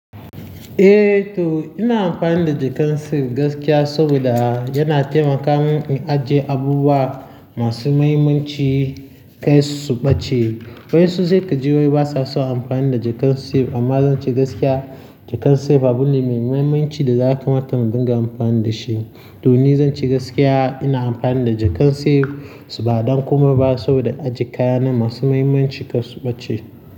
Eh to ina amfani da jakan safe gaskiya saboda yana taimaka min in ajiye abubuwa masu mahimmanci kai su ɓace. Wayansu sai ka ji wai basa son amfani da jakkan safe amma zan ce gaskiya jakkan safe abu ne mai mahimmanci da ya ka mata mu dinga amfani da shi. To ni zan ce gaskiya ina amfani da jakkan safe ba dan komai ba saboda ajiye kaya na masu mahimmanci kai su ɓace.